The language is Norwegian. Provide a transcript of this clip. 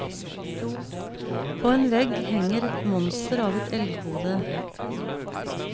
På en vegg henger et monster av et elghode.